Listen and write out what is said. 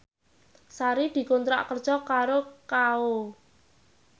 Sari dikontrak kerja karo Kao